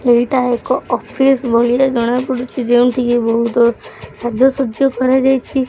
ଏଇଟା ଏକ ଅଫିସ୍ ଭଳିଆ ଜଣା ପଡ଼ୁଛି ଯେଉଁଠି କି ବହୁତ୍ ସାଜ ସଜ୍ଜା କରାଯାଇଛି।